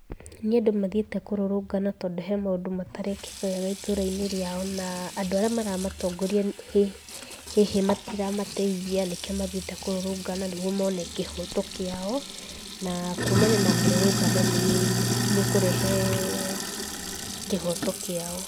Nĩ andũ mathiĩte kũrũrũngana tondũ he maũndũ matarekĩka wega itũra-inĩ rĩao, na andũ arĩa maramatongoria hihi matiramateithia nĩkĩo mathiĩte kũrũrũngana nĩguo mone kĩhoto kĩao, na kuumania na mĩrurũngano nĩ ĩkurehe kĩhoto kĩao.